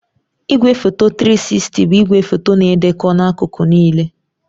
Igwefoto 360 bụ igwefoto na-edekọ n'akụkụ niile.